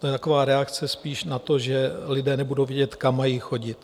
To je taková reakce spíš na to, že lidé nebudou vědět, kam mají chodit.